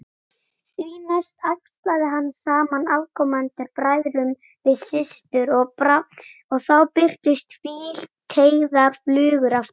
Því næst æxlaði hann saman afkomendunum, bræðrum við systur, og þá birtust hvíteygðar flugur aftur.